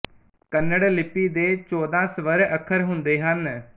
ਕੰਨੜ ਲਿਪੀ ਦੇ ਚੌਦਾਂ ਸਵਰ ਅੱਖਰ ਹੁੰਦੇ ਹਨ